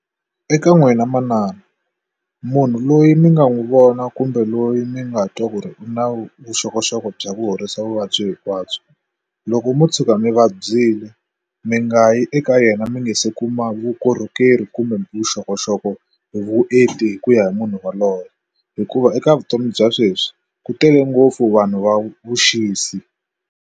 Eka n'wina manana munhu loyi mi nga n'wi vona kumbe loyi mi nga twa ku ri na vuxokoxoko bya ku horisa vuvabyi hinkwabyo loko mo tshuka mi vabyile mi nga nga yi eka yena mi nga se kuma vukorhokeri kumbe vuxokoxoko hi vuenti hi ku ya hi munhu yaloyo hikuva eka vutomi bya sweswi ku tele ngopfu vanhu va vuxisi.